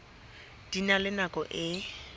di na le nako e